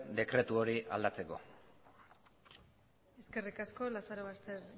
dekretu hori aldatzeko eskerrik asko lazarobaster